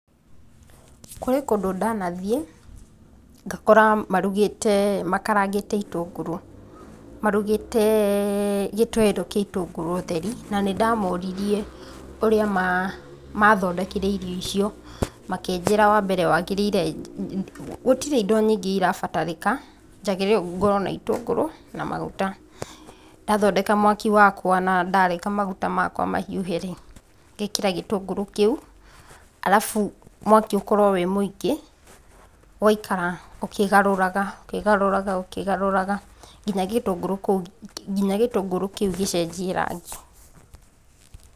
Kũrĩ kũndũ ndanathiĩ, ngakora marugĩte makarangĩte itũngũrũ, marugĩte kĩtoero kĩa itũngũrũ theri na nĩndamoririe ũrĩa mathondekire irio icio, makĩnjĩra wa mbere wagĩrĩire, gũtirĩ indo nyingĩ irabatarĩka, njagĩrĩirwo ngorwo na itũngũrũ na maguta. Ndathondeka mwaki wakwa na ndareka maguta makwa mahiũhe-rĩ, ngekĩra gĩtũngũrũ kĩu, alafu mwaki ũkorwo wĩ mũingĩ, ũgaikara ũkĩgarũraga, ũkĩgarũraga, ũkĩgarũraga kinya gĩtũngũrũ kũu, kinya gĩtũngũrũ kĩu gĩcenjie rangi.